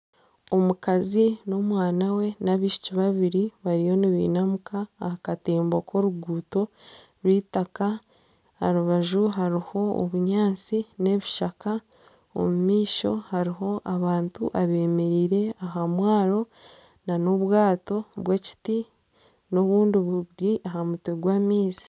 Omukazi nana omwana we n'abaishiki babiri bariyo nibainamuka ahakatembo k'oruguuto orwaitaka aharubaju hariho obunyatsi n'ebishaka omumaisho hariho abantu abemereire aha mwaaro nana obwaato bw'ekiti n'obundi buri ahamutwe gw'amaizi.